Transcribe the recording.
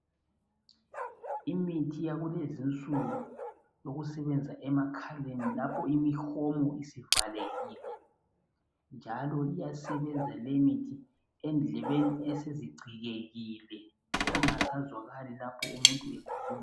Imithi yakulezinsuku eyokusebenzisa emakhaleni lapho imihomo isivalekile njalo iyasebenza leyi imithi endlebeni esezigcikekile kungasazwakali lapho umuntu ekhuluma.